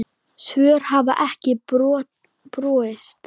Svör hafa ekki borist.